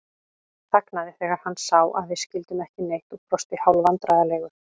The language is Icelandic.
Þagnaði þegar hann sá að við skildum ekki neitt og brosti hálfvandræðalegur.